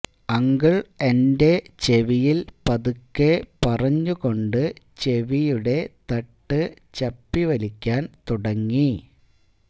uncle എന്റെ ചെവിയിൽ പതുക്കെ പറഞ്ഞു കൊണ്ട് ചെവിയുടെ തട്ട് ചപ്പി വലിക്കാൻ തുടങ്ങി